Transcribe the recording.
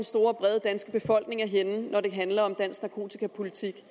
store brede danske befolkning er henne når det handler om dansk narkotikapolitik